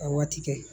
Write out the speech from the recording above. Ka waati kɛ